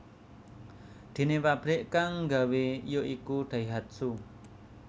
Déné pabrik kang nggawé ya iku Daihatsu